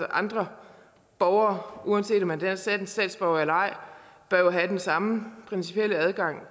andre borgere uanset om man er dansk statsborger eller ej bør jo have den samme principielle adgang